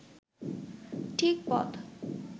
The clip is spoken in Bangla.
ঠিক পথ